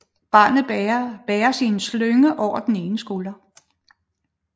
Barnet bæres i en slynge over den ene skulder